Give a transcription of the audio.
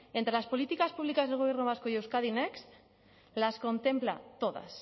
entre las políticas públicas del gobierno vasco y euskadi next las contempla todas